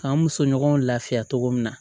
K'an muso ɲɔgɔnw lafiya cogo min na